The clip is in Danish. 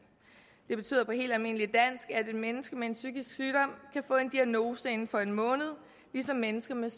det betyder på helt almindeligt dansk at et menneske med en psykisk sygdom kan få en diagnose inden for en måned ligesom mennesker med